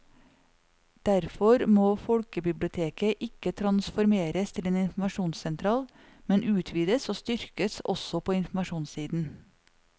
Derfor må folkebiblioteket ikke transformeres til en informasjonssentral, men utvides og styrkes også på informasjonssiden.